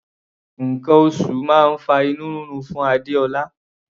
Nǹkan oṣù máa ń fa inú rírun fún Adéọlá.